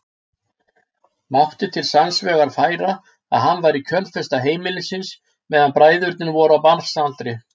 Mátti til sanns vegar færa að hann væri kjölfesta heimilisins meðan bræðurnir voru á barnsaldri.